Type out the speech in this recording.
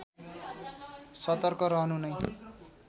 सतर्क रहनु नै